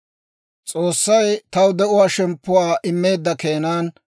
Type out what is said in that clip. S'oossay taw de'uwaa shemppuwaa immeedda keenan,